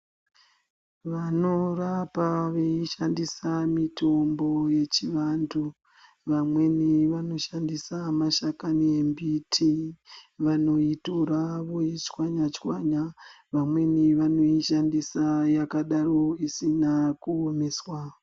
Vanorapa veishandisa mitombo yechivantu, vamweni vanoshandisa mashakani embiti, vanoitora voitswanya-tswanya, vamweni vanoishandisa yakadaro isina kuomeswa.